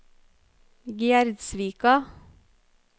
Gjerdsvika